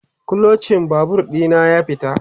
Kluchin Babur ɗina ya fita